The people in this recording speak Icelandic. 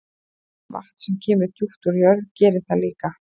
Vatn sem kemur djúpt úr jörð gerir það líka.